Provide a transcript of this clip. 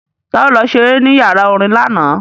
Ta ló lọ ṣeré ní yàrá orin lánàá?